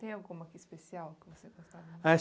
Tem alguma aqui especial que você gostava? Ah